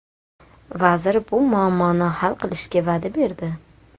Vazir bu muammoni hal qilishga va’da berdi.